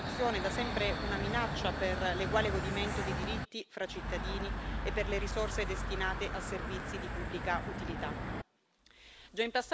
Parliamo della piaga della corruzione, da sempre una minaccia per l'eguale godimento dei diritti fra cittadini e per le risorse destinate a servizi di pubblica utilità.